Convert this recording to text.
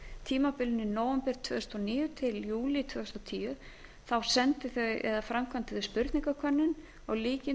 tímabilinu nóvember tvö þúsund og níu til júlí tvö þúsund og tíu framkvæmdu þau spurningakönnun úr